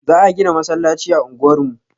Za a gina masallaci a unguwar mu.